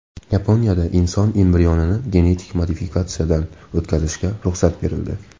Yaponiyada inson embrionini genetik modifikatsiyadan o‘tkazishga ruxsat berildi.